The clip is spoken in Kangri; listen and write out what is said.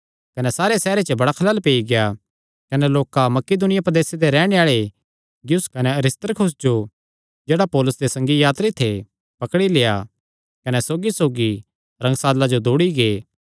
कने सारे सैहरे च बड़ा खलल पेई गेआ कने लोकां मकिदुनिया प्रदेसे दे रैहणे आल़े गयुस कने अरिस्तर्खुस जो जेह्ड़े पौलुसे दे संगी यात्री थे पकड़ी लेआ कने सौगीसौगी रंगशाला जो दौड़ी गै